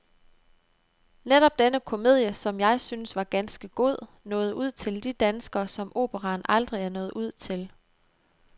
Netop denne komedie, som jeg synes var ganske god, nåede ud til de danskere, som operaen aldrig er nået ud til.